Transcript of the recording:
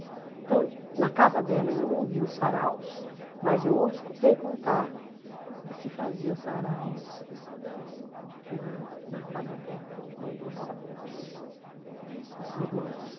Então, na casa dela eu não vi os saraus, mas eu escutei contar que se fazia saraus na na casa dela quando jovens, os os irmãos...